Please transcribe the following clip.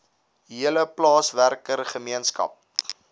hele plaaswerker gemeenskap